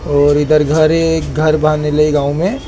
और इधर घर है। एक घर गांव में।